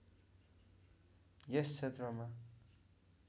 यस क्षेत्रमा